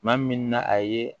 Maa min na a ye